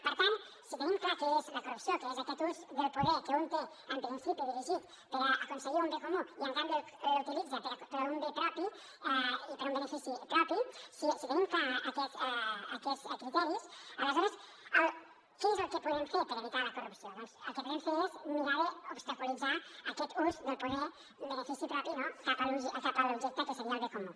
per tant si tenim clar què és la corrupció que és aquest ús del poder que un té en principi dirigit per aconseguir un bé comú i en canvi l’utilitza per un bé propi i per un benefici propi si tenim clars aquests criteris aleshores què és el que podem fer per evitar la corrupció doncs el que podem fer és mirar d’obstaculitzar aquest ús del poder en benefici propi no cap a l’objecte que seria el bé comú